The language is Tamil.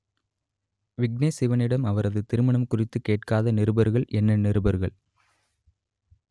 விக்னேஷ் சிவனிடம் அவரது திருமணம் குறித்து கேட்காத நிருபர்கள் என்ன நிருபர்கள்